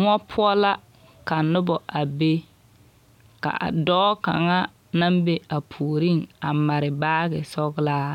Mõͻ poͻ la ka noba a be, ka a dͻͻ kaŋa naŋ be a puoriŋ mare baage sͻgelaa